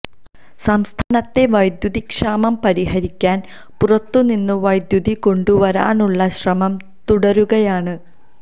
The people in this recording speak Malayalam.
സംസ്ഥാനത്തെ വൈദ്യുതി ക്ഷാമം പരിഹരിക്കാൻ പുറത്തു നിന്ന് വൈദ്യുതി കൊണ്ടുവരാനുള്ള ശ്രമം തുടരുകയാണ്